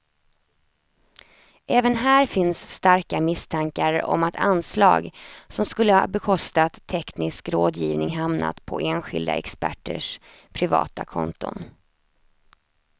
Även här finns starka misstankar om att anslag som skulle ha bekostat teknisk rådgivning hamnat på enskilda experters privata konton.